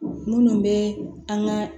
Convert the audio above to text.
Minnu bɛ an ka